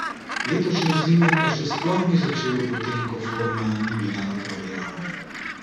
Letošnje zime pa še sploh ni začel, potem ko forma ni bila na pravi ravni.